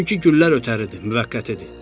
Çünki güllər ötəridir, müvəqqətidir.